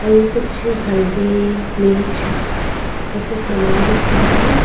और ये कुछ हल्दी मिर्च ये सब समान दिख रहा है।